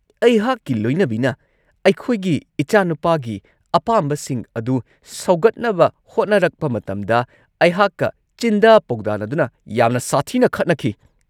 ꯑꯩꯍꯥꯛꯀꯤ ꯂꯣꯏꯅꯕꯤꯅ ꯑꯩꯈꯣꯏꯒꯤ ꯏꯆꯥꯅꯨꯄꯥꯒꯤ ꯑꯄꯥꯝꯕꯁꯤꯡ ꯑꯗꯨ ꯁꯧꯒꯠꯅꯕ ꯍꯣꯠꯅꯔꯛꯄ ꯃꯇꯝꯗ ꯑꯩꯍꯥꯛꯀ ꯆꯤꯟꯗꯥ-ꯄꯥꯎꯗꯥꯅꯗꯨꯅ ꯌꯥꯝꯅ ꯁꯥꯊꯤꯅ ꯈꯠꯅꯈꯤ ꯫